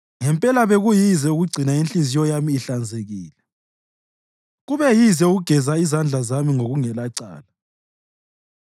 Ngempela bekuyize ukugcina inhliziyo yami ihlanzekile; kube yize ukugeza izandla zami ngokungelacala.